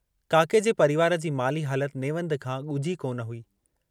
काके जे परिवार जी माली हालत नेवंद खां गुझी कोन हुई।